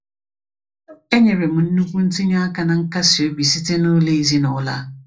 E nyere m nnukwu ntinye aka na nkasi obi site n’ụlọ ezinụlọ a.